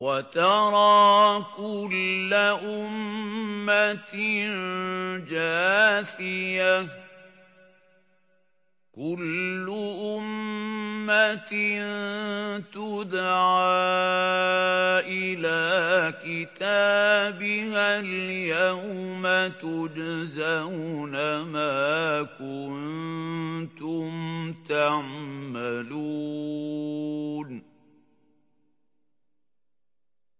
وَتَرَىٰ كُلَّ أُمَّةٍ جَاثِيَةً ۚ كُلُّ أُمَّةٍ تُدْعَىٰ إِلَىٰ كِتَابِهَا الْيَوْمَ تُجْزَوْنَ مَا كُنتُمْ تَعْمَلُونَ